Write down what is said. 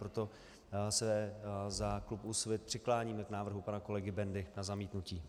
Proto se za klub Úsvit přikláníme k návrhu pana kolegy Bendy na zamítnutí.